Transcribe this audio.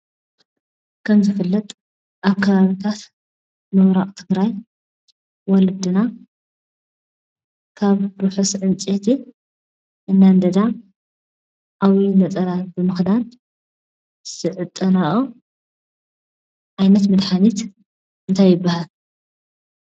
ከም ዝፍለጥ ኣብ ከባቢታት ምብራቅ ትግራይ ወለድና ካብ ርሑስ ዕንጨይቲ እናንደዳ ዓብይ ነፀላ ብምክዳን ዝዕጠነኦ ዓይነት መድሓኒት እንታይ ይብሃል ?